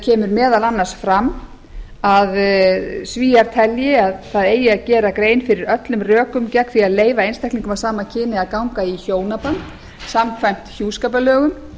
kemur meðal annars fram að svíar telji að það eigi að gera grein fyrir öllum rökum gegn því að leyfa einstaklingum af sama kyni að ganga í hjónaband samkvæmt hjúskaparlögum